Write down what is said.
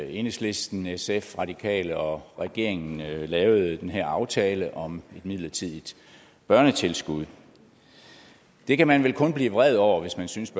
enhedslisten sf radikale venstre og regeringen lavede lavede den her aftale om et midlertidigt børnetilskud det kan man vel kun blive vred over hvis man synes